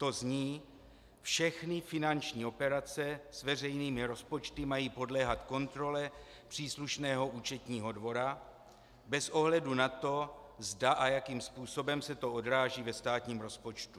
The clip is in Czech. To zní: "Všechny finanční operace s veřejnými rozpočty mají podléhat kontrole příslušného účetního dvora, bez ohledu na to, zda a jakým způsobem se to odráží ve státním rozpočtu."